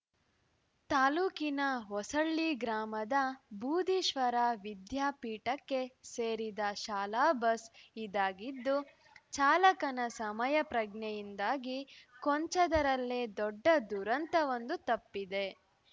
ತಾಲೂಕಿನ ಹೊಸಳ್ಳಿ ಗ್ರಾಮದ ಬೂದೀಶ್ವರ ವಿದ್ಯಾಪೀಠಕ್ಕೆ ಸೇರಿದ ಶಾಲಾ ಬಸ್‌ ಇದಾಗಿದ್ದು ಚಾಲಕನ ಸಮಯ ಪ್ರಜ್ಞೆಯಿಂದಾಗಿ ಕೊಂಚದರಲ್ಲೇ ದೊಡ್ಡ ದುರಂತವೊಂದು ತಪ್ಪಿದೆ